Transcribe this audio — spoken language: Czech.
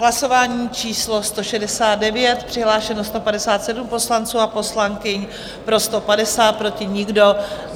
Hlasování číslo 169, přihlášeno 157 poslanců a poslankyň, pro 150, proti nikdo.